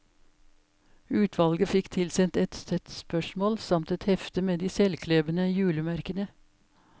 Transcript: Utvalget fikk tilsendt et sett spørsmål samt et hefte med de selvklebende julemerkene.